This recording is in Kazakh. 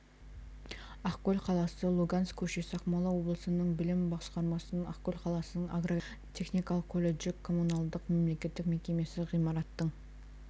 ақкөл қаласы луганск көшесі ақмола облысының білім басқармасының ақкөл қаласының агротехникалық колледжі коммуналдық мемлекеттік мекемесі ғимаратының